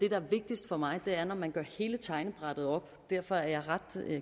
er vigtigst for mig er når man gør hele tegnebrættet op og derfor er jeg ret